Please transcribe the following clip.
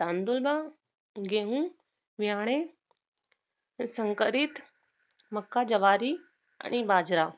तांदूळ, गेहू, व्याने, संकरित, मक्का, ज्वारी आणि बाजरा